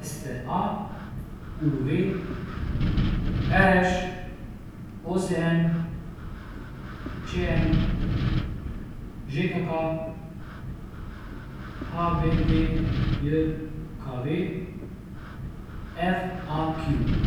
S T A; U V; R Š; O Z N; Č M; Ž K K; H B D J K V; F A Q.